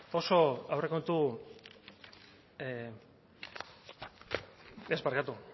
oso aurrekontu ez barkatu